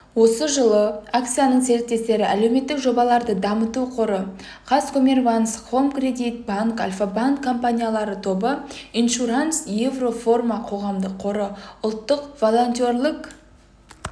осы жылы акцияның серіктестері әлеуметтік жобаларды дамыту қоры казкоммерцбанк хоум кредит банк альфа-банк компаниялар тобы иншуранс еврофарма қоғамдық қоры ұлттық волонтерлік